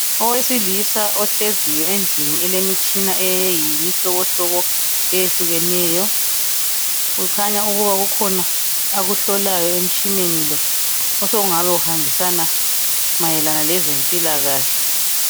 Owesilisa ohleziyo endlini elemitshina eyimihlobohlobo etshiyeneyo kukhanya ukuba kukhona akuhlolayo emtshineni lo osokungaba kuhambisana mayelana lezempilakahle.